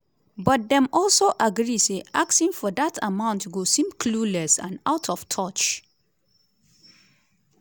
but dem also agree say asking for dat amount go seem "clueless" and "out of touch".